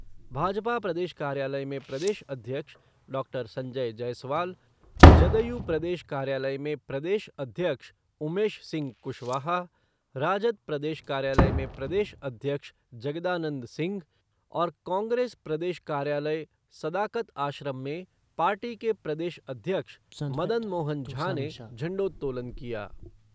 भाजपा प्रदेश कार्यालय में प्रदेश अध्यक्ष डॉक्टर संजय जयसवाल, जदयू प्रदेश कार्यालय में प्रदेश अध्यक्ष उमेश सिंह कुशवाहा, राजद प्रदेश कार्यालय में प्रदेश अध्यक्ष जगदानंद सिंह और कांग्रेस प्रदेश कार्यालय सदाकत आश्रम में पार्टी के प्रदेश अध्यक्ष मदन मोहन झा ने झंडोत्तोलन किया।